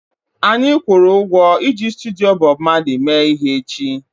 Anyị kwụrụ ụgwọ iji studio Bob Marley mee ihe echi